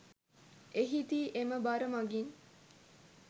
එහිදී එම බර මගින්